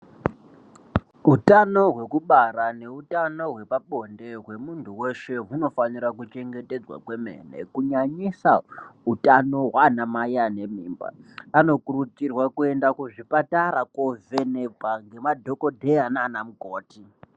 Utano hwekubara neutano hwepabonde hwemunhu weshe, hunofanira kuchengetedzwa kwemene, kunyanyisa utano hwana mai ane mimba. Anokurudzirwa kuenda kuzvipatara kovhenekwa ngemadhokodheya nana mukoti.